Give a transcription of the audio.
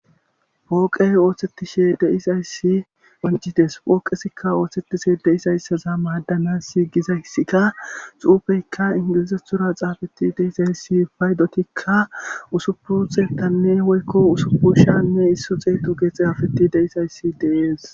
pooqey ooththetishe deisayssi wancites pooqesikka ooththetishe deisaysaza maaddanas gizayssika xuufeykka ingilizetura xaafeti deisayssi faydotikka usupu thetanne woykko usupu shanne issu xeetu geexe hafetti deisayssi dees